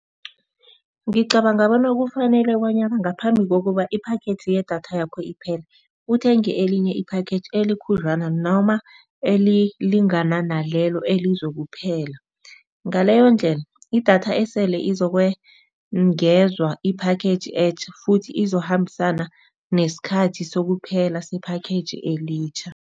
Ngicabanga bona kufanele bonyana ngaphambi kokuba i-package yedatha yakho iphele uthenge elinye i-package elikhudlwana noma elilingana nalelo elizokuphela. Ngaleyondlela idatha esele izokwengezwa i-package etja futhi izokukhambisana nesikhathi sokuphela se-package elitjha.